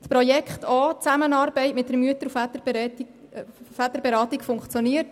Das Projekt liegt vor, die Zusammenarbeit mit der Mütter- und Väterberatung funktioniert.